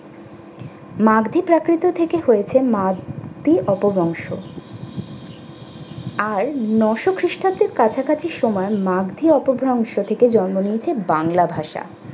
মাগধী প্রাকৃতি থেকে হয়েছে মাগধী অপবংশ। আর নয়শো খ্রিস্টাব্দের কাছাকাছি সময় মাগধী অপভ্রংশ থেকে জন্ম নিয়েছে বাংলা ভাষা।